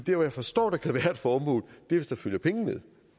jeg forstår der kan være et formål hvis der følger penge med